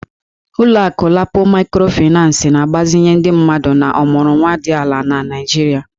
Ụlọ akụ LAPO Maịkrofịnancị na-agbazinye ndị mmadụ na ọmụrụnwa dị ala na Nigeria